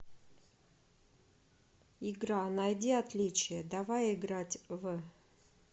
игра найди отличия давай играть в